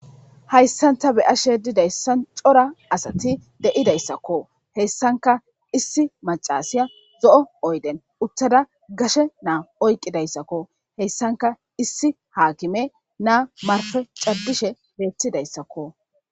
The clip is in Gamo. Hayssanta beyashe didayssan cora asati de'idayssakko hessanka issi macasiya zo'o oyden uttada gashe naa oyqqidayssakko, heyssanka issi haakime naa marpe caddishe beettidayssakko.